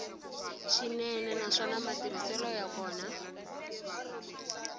swinene naswona matirhiselo ya kona